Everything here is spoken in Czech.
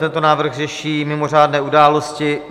Tento návrh řeší mimořádné události.